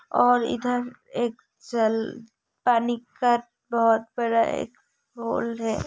और इधर एक जल पानी का बहुत बड़ा एक है।